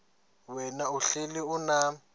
wena uhlel unam